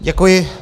Děkuji.